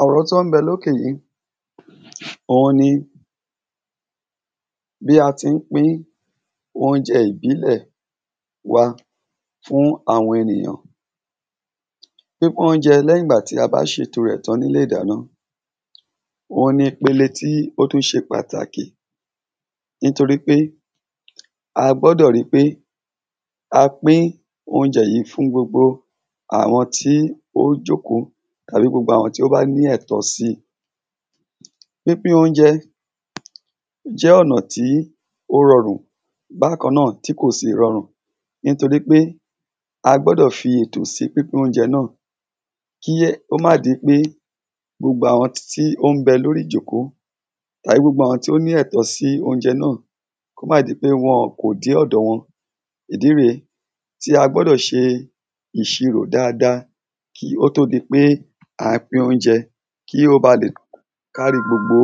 Àwòrán tó ń bẹ lókè yí ohun ni bí a tí ń pín oúnjẹ ìbílẹ̀ wa fún àwọn ènìyàn. Pínpín oúnjẹ lẹ́yìngbà ta bá sètò rẹ̀ tán nílé ìdáná ohun ni ìpele tó tún se pàtàkì. Nítorípé a gbọdọ̀ ri pé a pín oúnjẹ yí fún gbogbo àwọn tí ó jòkó àbí gbogbo àwọn tó bá ní ẹ̀tọ́ síi. Pínpín óúnjẹ jẹ́ ọ̀nà tí ó rọrùn bákan náà tí kò sì rọrù. Nítorí pé a gbọ́dọ̀ fi ètò sí pípín óúnjẹ náà. Kí ẹ̀ ó má di pé gbogbo àwọn tí ó ń bẹ lórí ìjókòó tàbí gbogbo àwọn tó lẹ́tó sí óúnjẹ náà kó má di pé wọn-ọ̀n kò dé ọ̀dọ̀ wọn. Ìdí rèé tí a gbọ́dọ̀ ṣe ìsirò dada kí ó tó di pé a pín óúnjẹ kí ó ba lè kárí gbogbo